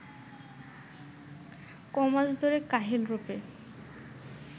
কমাস ধরে কাহিল রূপে